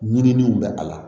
Ɲininiw bɛ a la